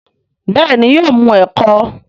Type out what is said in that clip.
béèni yóò mu eko.